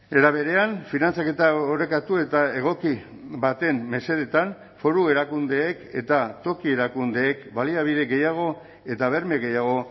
era berean finantzaketa orekatu eta egoki baten mesedetan foru erakundeek eta toki erakundeek baliabide gehiago eta berme gehiago